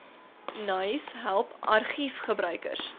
naais help argiefgebruikers